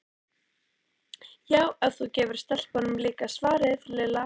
Já, ef þú gefur stelpunum líka svaraði Lilla.